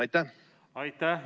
Aitäh!